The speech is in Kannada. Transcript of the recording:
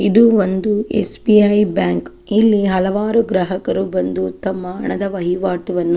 ಇದು ಒಂದು ಎಸ್.ಬಿ.ಐ ಬ್ಯಾಂಕ್ ಇಲ್ಲಿ ಹಲವಾರು ಗ್ರಾಹಕರು ಬಂದು ತಮ್ಮ ಹಣದ ವಹಿವಾಟಿ ವನ್ನು --